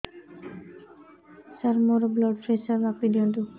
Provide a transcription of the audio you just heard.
ସାର ମୋର blood pressure ମାପି ଦିଅନ୍ତୁ